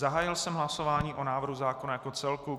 Zahájil jsem hlasování o návrhu zákona jako celku.